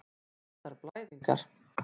Og þessar blæðingar.